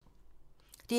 DR1